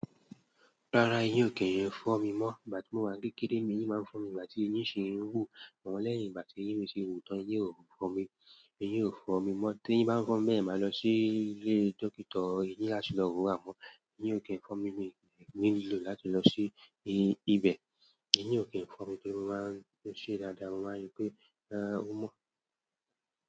Rárá, eyín ò kí n fó mi mọ́. Ìgbà tí mo wà kékeré, n'eyín máa ń fó mi. Ìgbà tí eyín ṣi ń wú, àmó lẹ́yìn ìgbà tí eyín mi ti wù tán, eyín ò fó mi. Iyín ò fún mi mọ́. Tí eyín bá ń fó mi bẹ́ẹ̀ yen, maa lọ sí ilé dókítà. Eyín lá tì lọ wo àmọ́. Ni okay, nkan mi ni, nílò láti lọ sí ibẹ̀. Ni o, nkan mi torí mo maa n se dáadáa, mo maa n ri pe e, o mo.